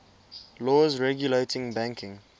laws regulating banking